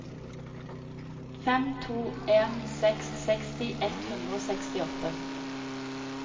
fem to en seks seksti ett hundre og sekstiåtte